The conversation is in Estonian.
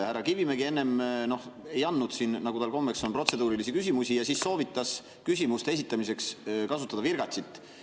Härra Kivimägi enne ei andnud, nagu tal kombeks on, protseduurilisi küsimusi ja soovitas küsimuste esitamiseks kasutada virgatsit.